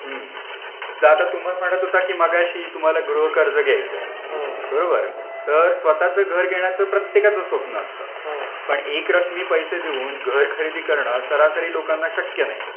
हं आता तुम्ही म्हणता होता कि मगाशी तुम्हाला गृह कर्ज घ्यायचे तर स्वतःचे घर घेण्याचे प्रत्येकाचं स्वप्न असतं पण एक रकमी पैसे देऊन घर खरीदी करणं सरासरी लोकांना शक्य नाही